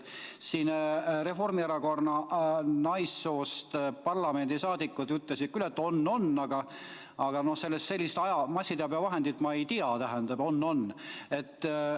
Siin Reformierakonna naissoost parlamendiliikmed ütlesid küll, et on-on, aga sellist massiteabevahendit nagu "on-on" ma ei tea.